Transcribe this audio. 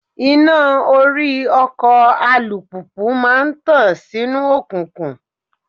Iná orí ọkọ̀ alùpùpù máa ń tàn sínú òkùnkùn.